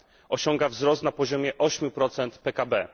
Osiąga wzrost na poziomie ośmiu procent PKB.